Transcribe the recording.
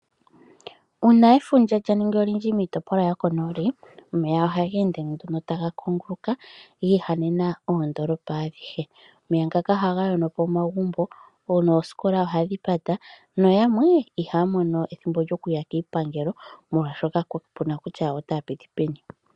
Uuna efundja lya ningi olindji miitopolwa yokonooli, omeya oha geende nduno taga kunguluka giihanena oondolopa adhihe. Omeya ngaka ohaga yono po omagumbo, noosikola ohadhi pata, noyamwe ihaya mono ethimbo lyokuya kiipangelo, molwaashoka kaku na kutya otaya piti peni.